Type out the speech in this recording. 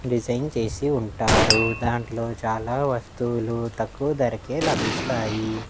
Design చేసి ఉంటారు దాంట్లో చాలా వస్తువులు తక్కువ ధరకే లభిస్తాయి.